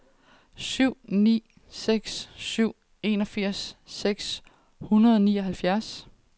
syv ni seks syv enogfirs seks hundrede og nioghalvfjerds